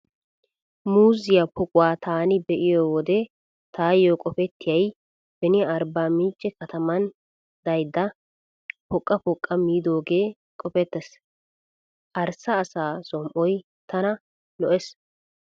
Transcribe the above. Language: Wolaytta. Muuzziyaa poquwaa taani be'iyo wode taayyo qopettiyay beni Arbba mincce katamaan daydda poqqa poqqa miidoogee qopettees. Arssa asaa som"oy tana lo'ees.